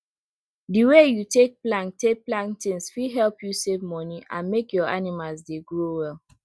the way you take plan take plan things fit help you save money and make your animals dey grow well